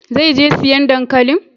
Zai je siyan dankalin?